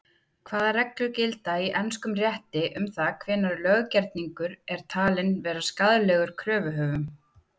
Hvaða reglur gilda í enskum rétti um það hvenær löggerningur er talinn vera skaðlegur kröfuhöfum?